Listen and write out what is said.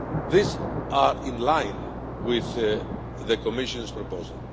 These are in line with the Commission's proposal.